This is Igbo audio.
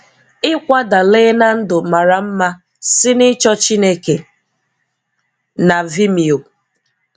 Ị kwada Lee na ndụ mara mma si na-ịchọ Chineke na Vimeo.